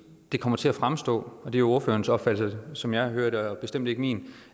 det kommer til at fremstå og det er ordførerens opfattelse som jeg hører det og bestemt ikke min